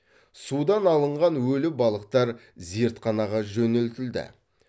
судан алынған өлі балықтар зертханаға жөнелтілді